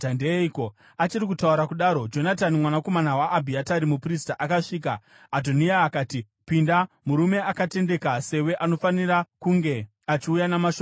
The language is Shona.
Achiri kutaura kudaro, Jonatani, mwanakomana waAbhiatari muprista, akasvika. Adhoniya akati, “Pinda! Murume akatendeka sewe anofanira kunge achiuya namashoko akanaka.”